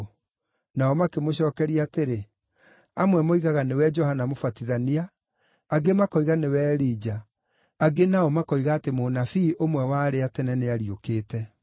Nao makĩmũcookeria atĩrĩ, “Amwe moigaga nĩwe Johana Mũbatithania; angĩ makoiga nĩwe Elija; angĩ nao makoiga atĩ mũnabii ũmwe wa arĩa a tene nĩariũkĩte.”